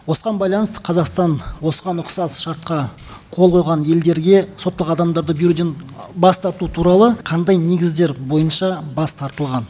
осыған байланысты қазақстан осыған ұқсас шартқа қол қойған елдерге сотталған адамдарды беруден бас тарту туралы қандай негіздер бойынша бас тартылған